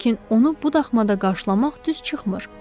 Lakin onu bu axşamda qarşılamaq düz çıxmır.